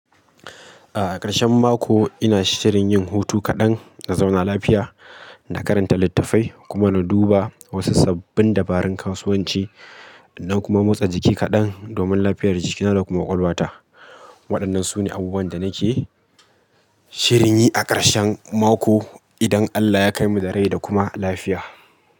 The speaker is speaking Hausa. A ƙarshen mako ina shirin yin hutu kaɗan, in zauna lafiya, na karanta littafai kuma na duba wasu sabbin dabarun kasuwanci, na kuma motsa jiki kaɗan domin lafiyar jikina da kuma ƙwaƙwalwata. Waɗannan su ne abubuwan da nake shirin yi a ƙarshen mako idan Allah ya kai mu da rai da kuma lafiya.